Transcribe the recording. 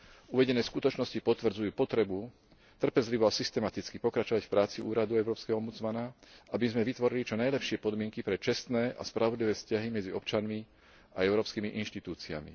Uvedené skutočnosti potvrdzujú potrebu trpezlivo a systematicky pokračovať v práci úradu európskeho ombudsmana, aby sme vytvorili čo najlepšie podmienky pre čestné a spravodlivé vzťahy medzi občanmi a európskymi inštitúciami.